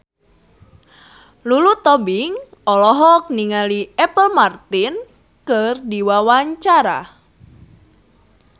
Lulu Tobing olohok ningali Apple Martin keur diwawancara